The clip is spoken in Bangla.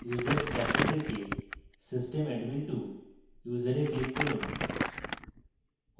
users box থেকে system admin2 ইউসারে click from